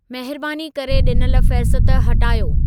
महिरबानी करे ॾिनल फ़हिरिस्त हटायो